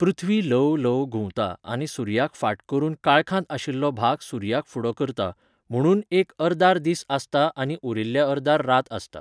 पृथ्वी ल्हव ल्हव घुंवता आनी सुर्याक फाट करून काळखांत आशिल्लो भाग सुर्याक फुडो करता, म्हुणून ह्या अर्दार दीस आसता आनी उरिल्ल्या अर्दार रात आसता.